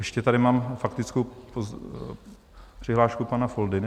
Ještě tady mám faktickou přihlášku pana Foldyny.